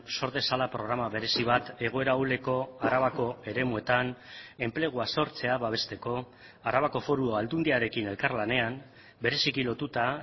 sor dezala programa berezi bat egoera ahuleko arabako eremuetan enplegua sortzea babesteko arabako foru aldundiarekin elkarlanean bereziki lotuta